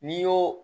N'i y'o